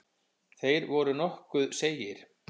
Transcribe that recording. Þeir voru nokkuð seigir.